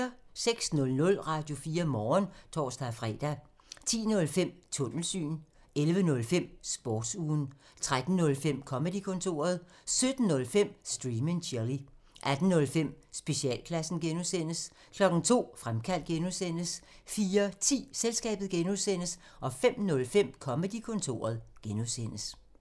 06:00: Radio4 Morgen (tor-fre) 10:05: Tunnelsyn 11:05: Sportsugen 13:05: Comedy-kontoret 17:05: Stream and chill 18:05: Specialklassen (G) 02:00: Fremkaldt (G) 04:10: Selskabet (G) 05:05: Comedy-kontoret (G)